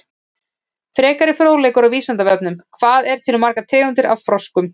Frekari fróðleikur á Vísindavefnum: Hvað eru til margar tegundir af froskum?